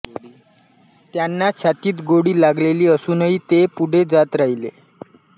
त्यांना छातीत गोळी लागलेली असूनही ते पुढे जात राहिले